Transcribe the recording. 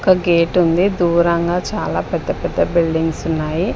ఒక గేట్ ఉంది దూరంగా చాలా పెద్ద పెద్ద బిల్డింగ్స్ ఉన్నాయి.